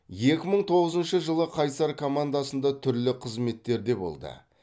екі мың тоғызыншы жылы қайсар командасында түрлі қызметтерде болды